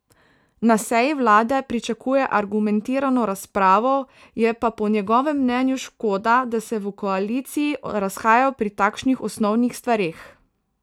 Na seji vlade pričakuje argumentirano razpravo, je pa po njegovem mnenju škoda, da se v koaliciji razhajajo pri takšnih osnovnih stvareh.